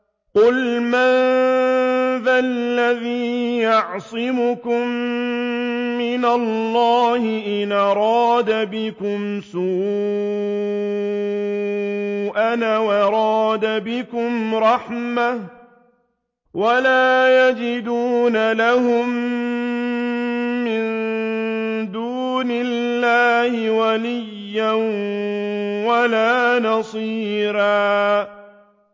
قُلْ مَن ذَا الَّذِي يَعْصِمُكُم مِّنَ اللَّهِ إِنْ أَرَادَ بِكُمْ سُوءًا أَوْ أَرَادَ بِكُمْ رَحْمَةً ۚ وَلَا يَجِدُونَ لَهُم مِّن دُونِ اللَّهِ وَلِيًّا وَلَا نَصِيرًا